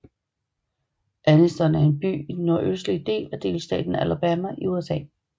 Anniston er en by i den nordøstlige del af delstaten Alabama i USA